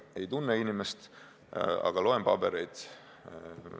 Ei tunne inimest, aga loen pabereid.